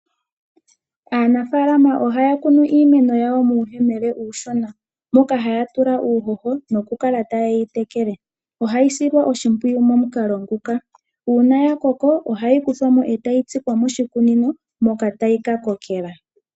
Aanafaalama ohaya kunu iimeno yawo muuyemele uushona, moka haya tula uuhoho noku kala ta ye yi tekele. Ohayi silwa oshimpwiyu momukalo nguka. Uuna ya koko ohayi kuthwa mo e ta yi tsikwa moshikunino moka tayi ka kokela.